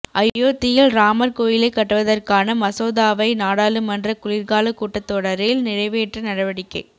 அயோத்தியில் ராமர் கோயிலை கட்டுவதற்கான மசோதாவை நாடாளுமன்ற குளிர்கால கூட்டத்தொடரில் நிறைவேற்ற நடவடிக்க